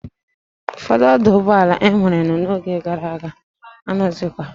Ufodu oduugboala e nwere no oge gara aga anoghizikwa